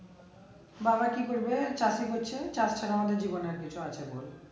বাবা কি করবে চাকরি করছে তার ছাড়া আমাদের জীবনে আর কিছু আছে বল